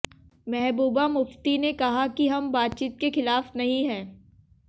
महबूबा मुफ्ती ने कहा कि हम बातचीत के खिलाफ नहीं हैं